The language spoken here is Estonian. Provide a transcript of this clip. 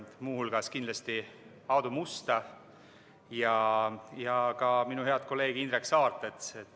Teiste hulgas tänan kindlasti Aadu Musta ja ka minu head kolleegi Indrek Saart.